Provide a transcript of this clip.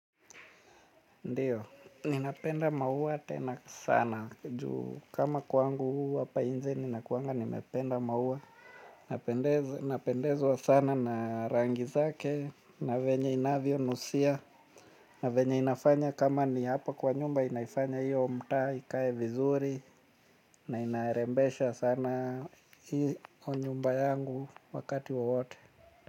Ndiyo, ninapenda mahuwa tena sana juu kama kwangu hapa inje ninakuanga nimependa mahuwa. Napendezwa sana na rangi zake na venye inavyo nusia. Na venye inafanya kama ni hapa kwa nyumba inaifanya hiyo mtaa ikae vizuri na inarembesha sana hiyo nyumba yangu wakati wa wowote.